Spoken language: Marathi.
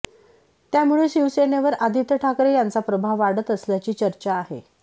त्यामुळे शिवसेनेवर आदित्य ठाकरे यांचा प्रभाव वाढत असल्याची चर्चा आहे